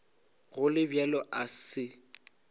go le bjalo a se